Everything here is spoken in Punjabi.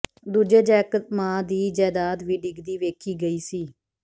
ਦੂਜੇ ਜੈਕ ਮਾ ਦੀ ਜਾਇਦਾਦ ਵੀ ਡਿੱਗਦੀ ਵੇਖੀ ਗਈ ਸੀ